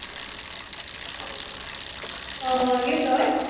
ਹਾਂ ਕੀ ਹੁੰਦਾ ਓਏ?